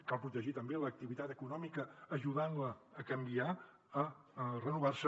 cal protegir també l’activitat econòmica ajudant la a canviar a renovar se